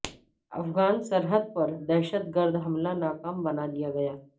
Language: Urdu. افغان سرحد پر دہشت گرد حملہ ناکام بنا دیا گیا